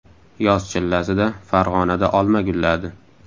Yoz chillasida Farg‘onada olma gulladi.